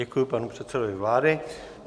Děkuji panu předsedovi vlády.